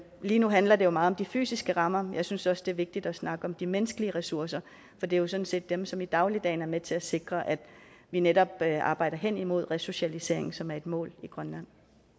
lige nu handler det jo meget om de fysiske rammer jeg synes også det er vigtigt at snakke om de menneskelige ressourcer for det er sådan set dem som i dagligdagen er med til at sikre at vi netop arbejder hen imod resocialisering som er et mål i grønland